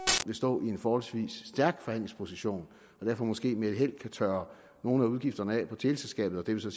stå i en forholdsvis stærk forhandlingsposition og derfor måske med held kan tørre nogle af udgifterne af på teleselskabet og det vil så